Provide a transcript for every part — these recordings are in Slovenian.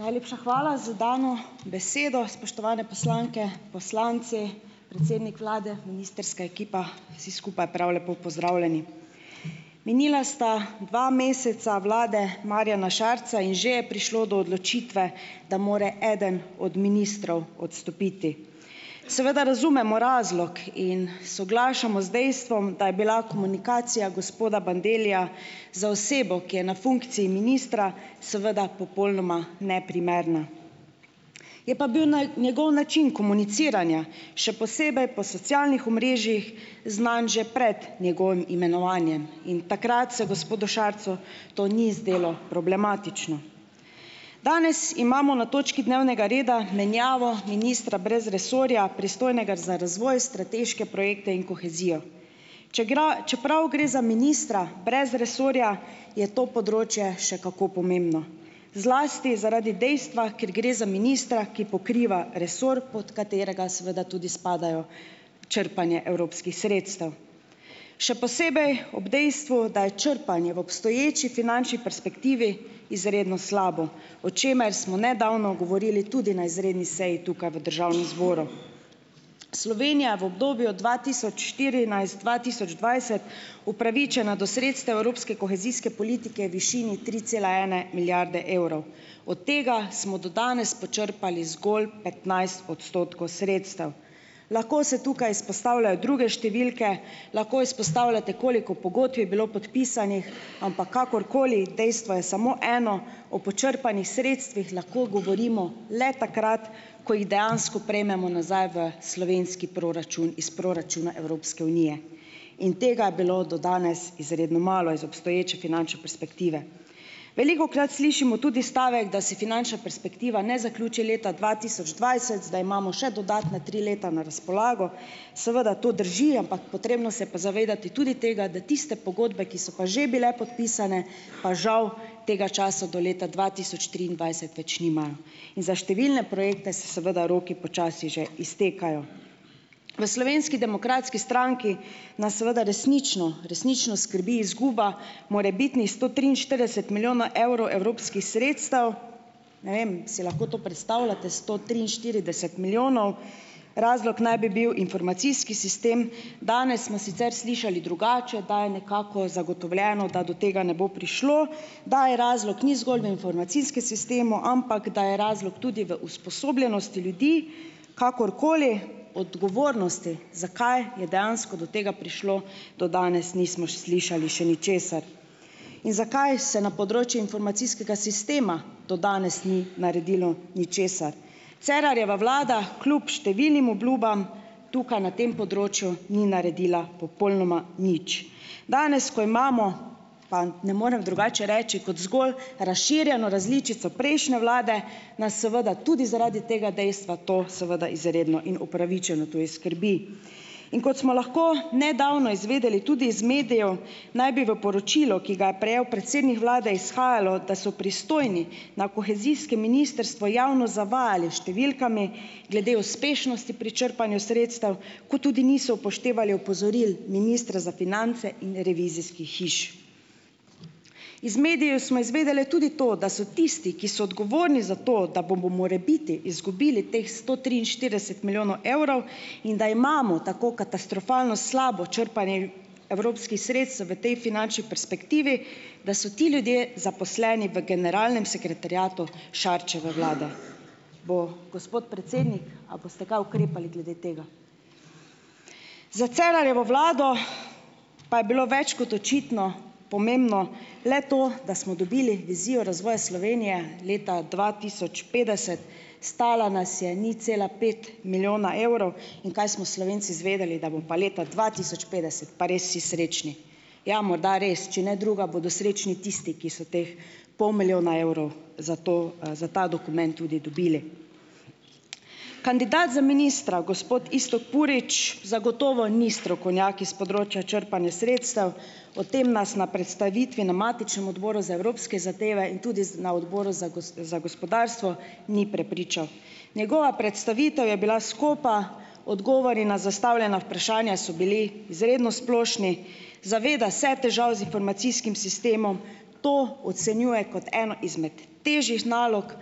Najlepša hvala zs dano besedo. Spoštovane poslanke, poslanci, predsednik vlade, ministrska ekipa. Vsi skupaj prav lepo pozdravljeni. Minila sta dva meseca vlade Marjana Šarca in že je prišlo do odločitve, da mora eden od ministrov odstopiti. Seveda razumemo razlog in soglašamo z dejstvom, da je bila komunikacija gospoda Bandellija za osebo, ki je na funkciji ministra, seveda popolnoma neprimerna. Je pa bil njegov način komuniciranja še posebej po socialnih omrežjih znan že prej njegovim imenovanjem in takrat se gospodu Šarcu to ni zdelo problematično. Danes imamo na točki dnevnega reda menjavo ministra brez resorja, pristojnega za razvoj, strateške projekte in kohezijo. čeprav gre za ministra brez resorja, je to področje še kako pomembno zlasti zaradi dejstva, ker gre za ministra, ki pokriva resor, pot katerega seveda tudi spada črpanje evropskih sredstev. Še posebej ob dejstvu, da je črpanje v obstoječi finančni perspektivi izredno slabo, o čemer smo nedavno govorili tudi na izredni seji tukaj v državnem zboru. Slovenija v obdobju od dva tisoč štirinajst-dva tisoč dvajset upravičena do sredstev evropske kohezijske politike višini tri cela ene milijarde evrov. Od tega smo do danes počrpali zgolj petnajst odstotkov sredstev. Lahko se tukaj izpostavljajo druge številke, lahko izpostavljate, koliko pogodb je bilo podpisanih, ampak kakorkoli, dejstvo je samo eno, o počrpanih sredstvih lahko govorimo le takrat, ko jih dejansko prejmemo nazaj v slovenski proračun iz proračuna Evropske unije. In tega je bilo do danes izredno malo iz obstoječe finančne perspektive. Velikokrat slišimo tudi stavek, da se finančna perspektiva ne zaključi leta dva tisoč dvajset, da imamo še dodatna tri leta na razpolago. Seveda to drži, ampak potrebno se je pa zavedati tudi tega, da tiste pogodbe, ki so pa že bile podpisane, pa žav tega časa do leta dva tisoč triindvajset več nimajo. In za številne projekte se seveda roki počasi že iztekajo. V Slovenski demokratski stranki nas seveda resnično, resnično skrbi izguba morebitnih sto triinštirideset milijona evrov evropskih sredstev. Ne vem, si lahko to predstavljate, sto triinštirideset milijonov? Razlog naj bi bil informacijski sistem. Danes smo sicer slišali drugače, da je nekako zagotovljeno, da do tega ne bo prišlo, da je razlog ni zgolj v informacijskem sistemu, ampak da je razlog tudi v usposobljenosti ljudi. Kakorkoli, odgovornosti, zakaj je dejansko do tega prišlo, do danes nismo še slišali še ničesar. In zakaj se na področje informacijskega sistema do danes ni naredilo ničesar? Cerarjeva vlada kljub številnim obljubam tukaj na tem področju ni naredila popolnoma nič. Danes, ko imamo, pa ne morem drugače reči, kot zgolj razširjeno različico prejšnje vlade, nas seveda tudi zaradi tega dejstva to seveda izredno in upravičeno tudi skrbi. In kot smo lahko nedavno izvedeli tudi iz medijev, naj bi v poročilo, ki ga je prejel predsednik vlade, izhajalo, da so pristojni na kohezijskem ministrstvu javnost zavajali s številkami glede uspešnosti pri črpanju sredstev, kot tudi niso upoštevali opozoril ministra za finance in revizijskih hiš. Iz medijev smo izvedeli tudi to, da so tisti, ki so odgovorni za to, da bomo morebiti izgubili teh sto triinštirideset milijonov evrov in da imamo tako katastrofalno slabo črpanje evropskih sredstev v tej finančni perspektivi, da so ti ljudje zaposleni v generalnem sekretariatu Šarčeve vlade. Bo gospod predsednik a boste kaj ukrepali glede tega? Za Cerarjevo vlado pa je bilo več kot očitno pomembno le to, da smo dobili izziv razvoja Slovenije leta dva tisoč petdeset, stala nas je nič cela pet milijona evrov. In kaj smo Slovenci izvedeli? Da bomo pa leta dva tisoč petdeset pa res vsi srečni. Ja, morda res, če ne drugega bodo srečni tisti, ki so teh pol milijona evrov za to, za ta dokument tudi dobili. Kandidat za ministra, gospod Iztok Purič, zagotovo ni strokovnjak iz področja črpanja sredstev, o tem nas na predstavitvi na matičnem odboru za evropske zadeve in tudi z na odboru za za gospodarstvo ni prepričal. Njegova predstavitev je bila skopa, odgovori na zastavljena vprašanja so bili izredno splošni. Zaveda se težav z informacijskim sistemom, to ocenjuje kot eno izmed težjih nalog,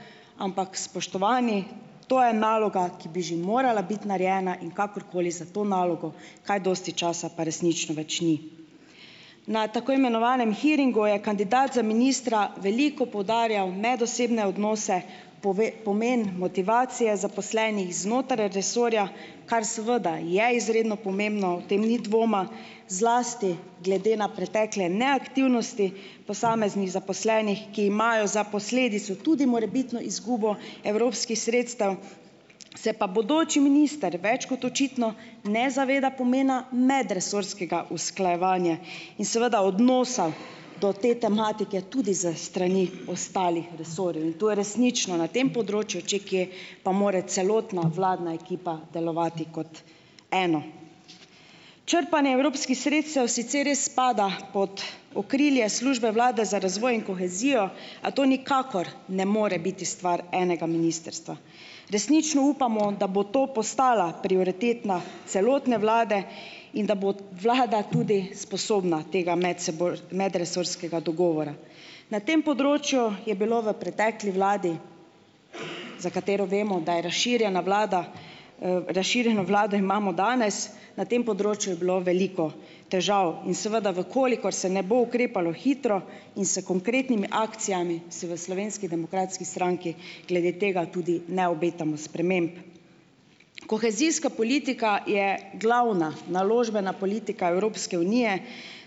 ampak spoštovani, to je naloga, ki bi že morala biti narejena, in kakorkoli, za to nalogo kaj dosti časa pa resnično več ni. Na tako imenovanem hearingu je kandidat za ministra veliko poudarjal medosebne odnose, pove, pomen motivacije zaposlenih znotraj resorja, kar seveda je izredno pomembno, o tem ni dvoma, zlasti glede na pretekle neaktivnosti posameznih zaposlenih, ki imajo za posledico tudi morebitno izgubo evropskih sredstev, se pa bodoči minister več kot očitno ne zaveda pomena medresorskega usklajevanja in seveda odnosa do te tematike tudi s strani ostalih resorjev, in to je resnično na tem področju, če kje, pa more celotna vladna ekipa delovati kot eno. Črpanje evropskih sredstev sicer res spada pot okrilje Službe vlade za razvoj in kohezijo, a to nikakor ne more biti stvar enega ministrstva. Resnično upamo, da bo to postala prioritetna celotne vlade in da bo vlada tudi sposobna tega medresorskega dogovora. Na tem področju je bilo v pretekli vladi, za katero vemo, da je razširjena vlada, razširjeno vlado imamo danes, na tem področju je bilo veliko težav, in seveda v kolikor se ne bo ukrepalo hitro in s konkretnimi akcijami, se v Slovenski demokratski stranki glede tega tudi ne obetamo sprememb. Kohezijska politika je glavna naložbena politika Evropske unije,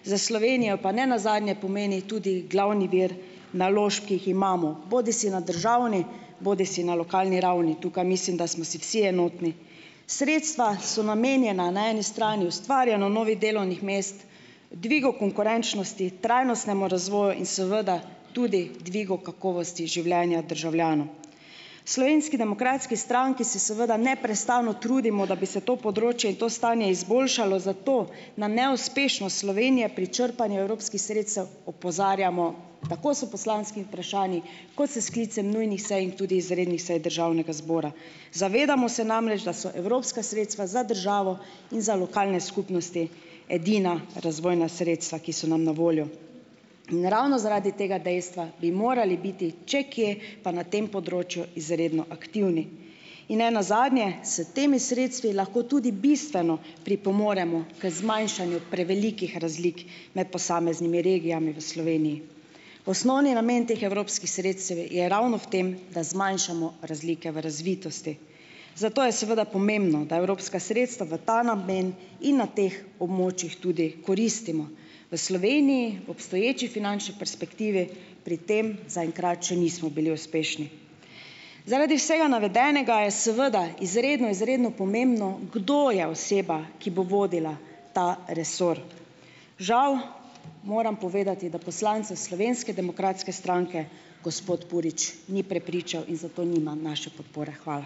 za Slovenijo pa nenazadnje pomeni tudi glavni vir naložb, ki jih imamo bodisi na državni bodisi na lokalni ravni, tukaj mislim, da smo si vsi enotni. Sredstva so namenjena na eni strani ustvarjanju novih delovnih mest, dvigu konkurenčnosti, trajnostnemu razvoju in seveda tudi dvigu kakovosti življenja državljanov. V Slovenski demokratski stranki si seveda neprestano trudimo, da bi se to področje in to stanje izboljšalo, zato na neuspešnost Slovenije pri črpanju evropskih sredstev opozarjamo tako s poslanskimi vprašanji kot s sklicem nujnih sej in tudi izrednih sej državnega zbora. Zavedamo se namreč, da so evropska sredstva za državo in za lokalne skupnosti edina razvojna sredstva, ki so nam na voljo, in ravno zaradi tega dejstva bi morali biti, če kje, pa na tem področju izredno aktivni. In nenazadnje, s temi sredstvi lahko tudi bistveno pripomoremo k zmanjšanju prevelikih razlik med posameznimi regijami v Sloveniji. Osnovni namen teh evropskih sredstev je ravno v tem, da zmanjšamo razlike v razvitosti, zato je seveda pomembno, da evropska sredstva v ta namen in na teh območjih tudi koristimo. V Sloveniji obstoječi finančni perspektivi pri tem zaenkrat še nismo bili uspešni. Zaradi vsega navedenega je, seveda, izredno izredno pomembno, kdo je oseba, ki bo vodila ta resor. Žal moram povedati, da poslance Slovenske demokratske stranke, gospod Purič ni prepričal in zato nima naše podpore. Hvala.